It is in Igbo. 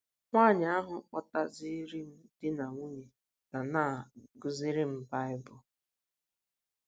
Nwaanyị ahụ kpọtaziiri m di na nwunye ga na - akụziri m Baịbụl.